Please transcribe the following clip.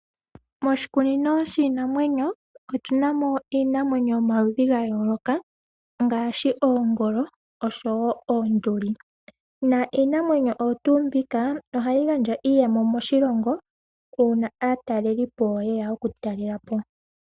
Moshikunino shiinanwenyo otunamo iinamwenyo ya yooloka ngaaashi oongolo osho woo oonduli. Iinamwenyo oyo tuu mbika ohayi gandja iiyemo moshilongo uuna aatalelipo yeya oku talelapo.